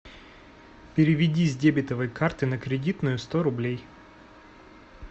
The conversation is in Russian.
переведи с дебетовой карты на кредитную сто рублей